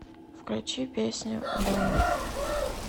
включи песню блэйм